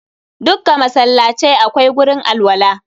Dukka masallacai akwai gurin alwala.